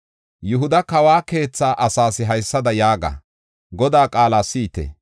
Yihuda kawa keetha asaas haysada yaaga: Godaa qaala si7ite!